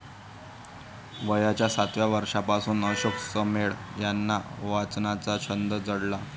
वयाच्या सातव्या वर्षापासून अशोक समेळ यांना वाचनाचा छंद जडला.